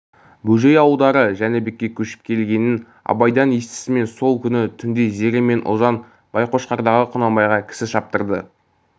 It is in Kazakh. бөжей ауылдары жәнібекке көшіп келгенін абайдан естісімен сол күні түнде зере мен ұлжан байқошқардағы құнанбайға кісі шаптырды